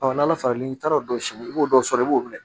n'ala falen n'i taara o dɔ si i b'o dɔ sɔrɔ i b'o minɛ